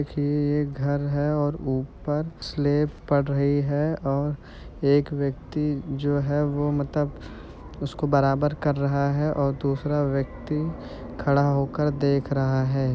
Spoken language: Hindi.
देखिये ये एक घर है और ऊपर स्लेब पड़ रही है और एक व्यक्ति जो है वो मतलब उसको बराबर कर रहा है और दूसरा व्यक्ति खड़ा होकर देख रहा है।